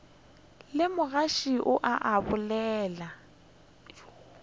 le magoši ao a mabedi